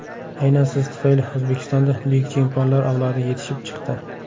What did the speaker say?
Aynan siz tufayli O‘zbekistonda buyuk chempionlar avlodi yetishib chiqdi.